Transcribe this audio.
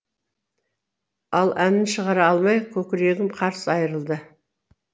ал әнін шығара алмай көкірегім қарс айырылды